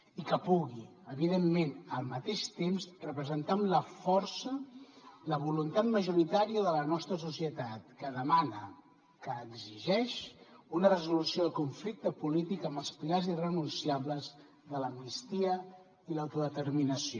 i que pugui evidentment al mateix temps representar amb la força la voluntat majoritària de la nostra societat que demana que exigeix una resolució del conflicte polític amb els pilars irrenunciables de l’amnistia i l’autodeterminació